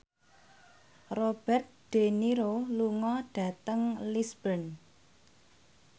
Robert de Niro lunga dhateng Lisburn